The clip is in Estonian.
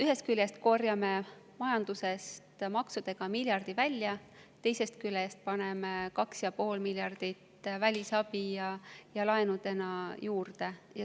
Ühest küljest korjame majandusest maksudega miljardi välja, teisest küljest paneme 2,5 miljardit välisabi ja laenudena juurde.